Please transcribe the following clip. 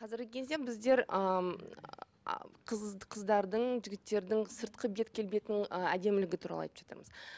қазіргі кезде біздер ы м қыздардың жігіттердің сыртқы бет келбетінің ы әдемілігі туралы айтып жатамыз